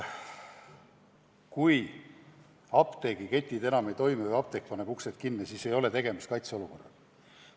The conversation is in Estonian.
Kui apteegiketid enam ei toimi või osa apteeke paneb uksed kinni, siis ei ole tegemist kaitseolukorraga.